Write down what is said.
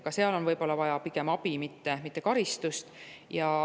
Ka seal võib pigem olla vaja abi, mitte karistust.